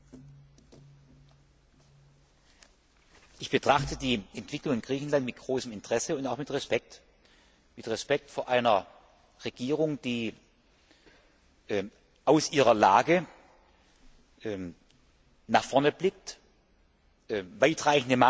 Ich betrachte die Entwicklung in Griechenland mit großem Interesse und auch mit Respekt, Respekt vor einer Regierung, die aus ihrer Lage nach vorne blickt, weitreichende Maßnahmen ergriffen hat Einsparungen,